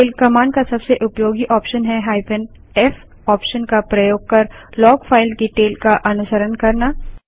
tail command का सबसे उपयोगी ऑप्शन है -f ऑप्शन का प्रयोग कर लॉग फाइल की टेल का अनुसरण करना